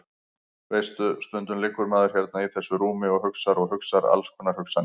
Veistu. stundum liggur maður hérna í þessu rúmi og hugsar og hugsar alls konar hugsanir.